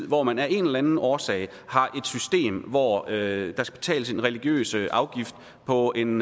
hvor man af en eller anden årsag har et system hvor der skal betales en religiøs afgift på en